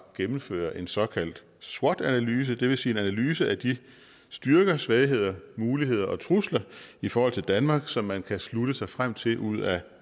gennemføre en såkaldt swot analyse det vil sige en analyse af de styrker svagheder muligheder og trusler i forhold til danmark som man kan slutte sig frem til ud af